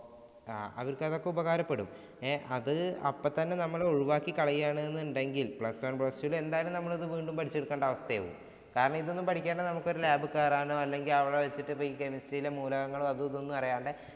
ആഹ് അവർക്ക് അതൊക്കെ ഉപകാരപ്പെടും. അത് അപ്പത്തന്നെ നമ്മള് ഒഴിവാക്കി കളയുകയാണെന്നുണ്ടെങ്കിൽ plus two വില് എന്തായാലും ഇത് വീണ്ടും പഠിച്ചെടുക്കേണ്ട അവസ്ഥ വരും. കാരണം ഇതൊന്നും പഠിക്കാതെ നമുക്കൊരു lab ഇൽ കയറാനോ, അല്ലെങ്കില്‍ chemistry യുടെ മൂലകങ്ങളും അത് ഇതും ഒന്ന് അറിയാണ്ട്